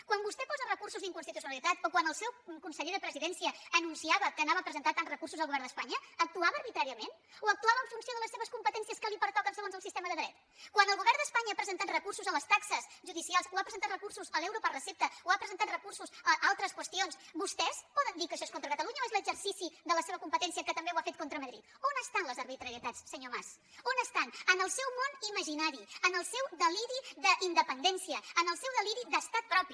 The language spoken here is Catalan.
quan vostè posa recursos d’inconstitucionalitat o quan el seu conseller de la presidència anunciava que presentaria tants recursos al govern d’espanya actuava arbitràriament o actuava en funció de les seves competències que li pertoquen segons el sistema de dret quan el govern d’espanya ha presentat recursos a les taxes judicials o ha presentat recursos a l’euro per recepta o ha presentat recursos a altres qüestions vostès poden dir que això és contra catalunya o és l’exercici de la seva competència que també ho ha fet contra madrid on estan les arbitrarietats senyor mas on estan en el seu món imaginari en el seu deliri d’independència en el seu deliri d’estat propi